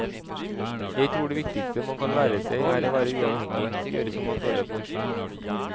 Jeg tror det viktigste man kan lære seg er å være uavhengig, gjøre som man føler for.